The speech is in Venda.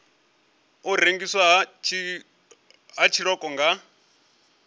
u rengiswa ha tshiṱoko nga